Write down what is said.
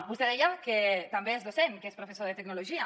vostè deia que també és docent que és professor de tec·nologia